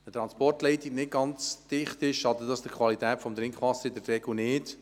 Ist eine Transportleitung nicht ganz dicht, schadet dies der Qualität des Trinkwassers in der Regel nicht.